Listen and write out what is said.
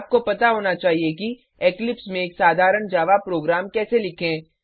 आपको पता होना चाहिए कि इक्लिप्स में एक साधारण जावा प्रोग्राम कैसे लिखें